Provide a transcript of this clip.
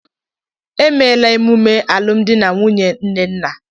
E meela emume alụmdi na nwunye nnenna.